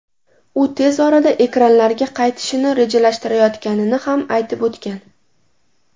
U tez orada ekranlarga qaytishini rejalashtirayotganini ham aytib o‘tgan.